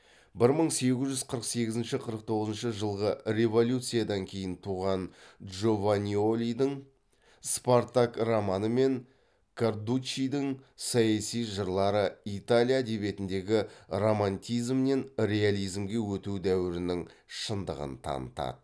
бір мың сегіз жүз қырық сегізінші қырық тоғызыншы жылғы революциядан кейін туған джованьолидің спартак романы мен кардуччидің саяси жырлары италия әдебиетіндегі романтизмнен реализмге өту дәуірінің шындығын танытады